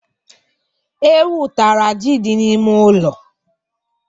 Ewu tara ji dị n'ime ụlọ.